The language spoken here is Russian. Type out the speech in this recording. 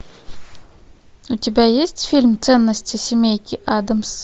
у тебя есть фильм ценности семейки аддамс